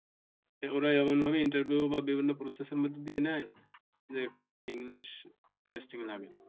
এগুলা এমন ভাবে Interview বা বিভিন্ন Process এর মধ্য দিয়ে নেয় যে এখানে কোনো english testing লাগে না।